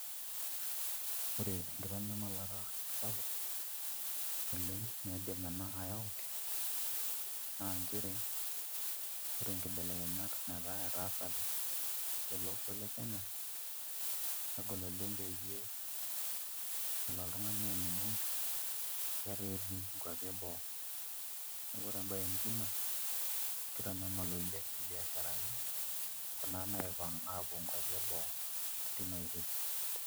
Ore enkitanyamalata sapuk naidim ena ayaau naa nchere ore inkebelekenyat naataa etaasate tele osho le Kenya negol oleng' peyie ele oltung'ani aaning'u letaa etii nkuapi eboo, neeku ore embaye nijio ina kitanyamal oleng' mbiasharani kuna naipang' aapuo nkuapi eboo tina oitoi.